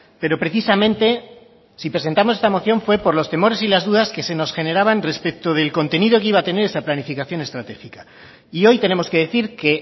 pero precisamente si presentamos esta moción fue por los temores y las dudas que se nos generaban respecto del contenido que iba a tener esa planificación estratégica y hoy tenemos que decir que